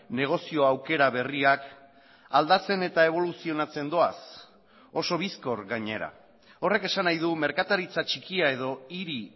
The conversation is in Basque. negozio aukera berriak aldatzen eta eboluzionatzen doaz oso bizkor gainera horrek esan nahi du merkataritza txikia edo hiri